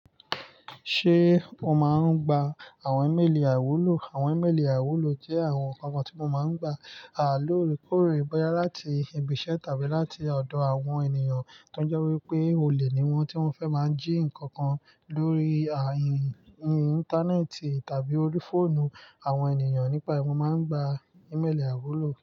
Ṣé o máa ń gba àwọn ímélì àiwúlò? Àwọn ímélì àwúlò jẹ́ àwọn nǹkan kan tí mo máa ń gba. A loore kore bóyá láti ibi iṣẹ́ tàbí láti ọ̀dọ̀ àwọn ènìyàn tó jẹ́ wípé olè ni wọ́n, tí wọ́n fẹ́ máa jí ǹkan kan lórí ayín íńtánẹ́ẹ̀tì tàbí orí fóònù àwọn ènìyàn. Nípa èyí, mo máa ń gba ímélì àwúlò.